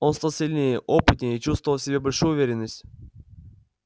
он стал сильнее опытнее чувствовал в себе большую уверенность